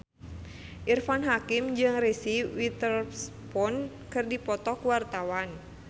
Irfan Hakim jeung Reese Witherspoon keur dipoto ku wartawan